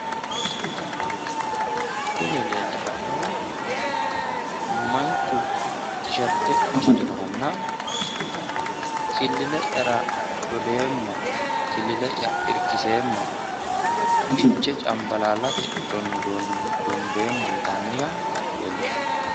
Kuni leellishannohu manchu tisherte amadinohanna, killile'yara dodeemmo, killile'ya irkiseemmo fichee cambalaallate dondeemmo yitannnoha leellishanno.